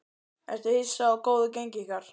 Ertu hissa á góðu gengi ykkar?